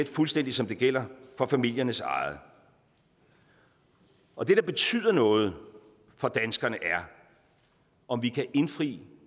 fuldstændig som det gælder for familiernes eget og det der betyder noget for danskerne er om vi kan indfri